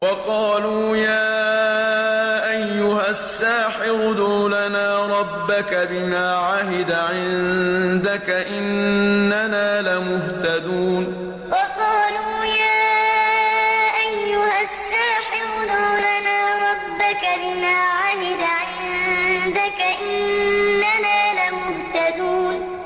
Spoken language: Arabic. وَقَالُوا يَا أَيُّهَ السَّاحِرُ ادْعُ لَنَا رَبَّكَ بِمَا عَهِدَ عِندَكَ إِنَّنَا لَمُهْتَدُونَ وَقَالُوا يَا أَيُّهَ السَّاحِرُ ادْعُ لَنَا رَبَّكَ بِمَا عَهِدَ عِندَكَ إِنَّنَا لَمُهْتَدُونَ